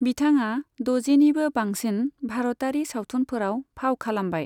बिथाङा द'जिनिबो बांसिन भारतारि सावथुनफोराव फाव खालामबाय।